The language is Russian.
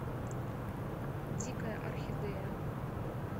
дикая орхидея